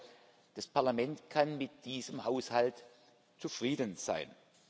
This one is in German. Ich glaube, das Parlament kann mit diesem Haushalt zufrieden sein.